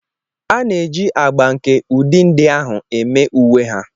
A na-eji agba nke ụdị ndị ahụ eme uwe ha.